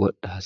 wodha hasiisanno